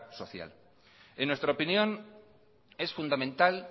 social en nuestra opinión es fundamental